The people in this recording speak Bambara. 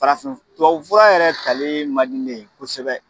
Farafin f tuwawu fura yɛrɛ talii mandi ne ye kosɛbɛ.